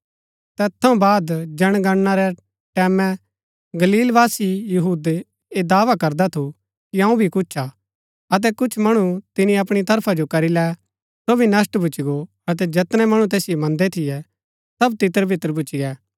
तैत थऊँ बाद जनगणना रै टैमैं गलीलवासी यहूदा भी ऐह दावा करदा थू कि अऊँ भी कुछ हा अतै कुछ मणु तिनी अपणी तरफा जो करी लै सो भी नष्‍ट भूच्ची गो अतै जैतनै मणु तैसिओ मन्दै थियै सब तितरबितर भूच्ची गै